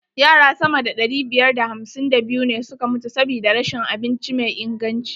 Yara sama da ɗari biyar da hamsin da biyu ne suka mutu sabida rashin abinci mai inganci.